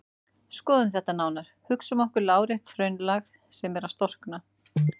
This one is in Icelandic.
Skoðum þetta nánar: Hugsum okkur lárétt hraunlag sem er að storkna.